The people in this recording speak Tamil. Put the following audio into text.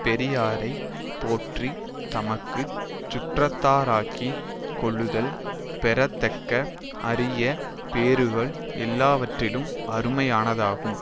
பெரியாரை போற்றி தமக்கு சுற்றத்தாராக்கிக் கொள்ளுதல் பெறத்தக்க அரிய பேறுகள் எல்லாவற்றிலும் அருமையானதாகும்